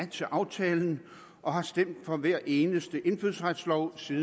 til aftalen og har stemt for hvert eneste indfødsretslovforslag